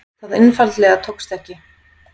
Það einfaldlega tókst ekki.